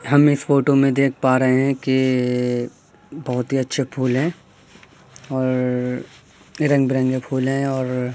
हम इस फोटो मे देख पा रहे है के बहुत ही अच्छे फूल है और रंग बिरंगे फूल है और--